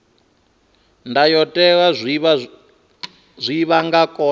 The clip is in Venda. ndayotewa zwine vha nga kona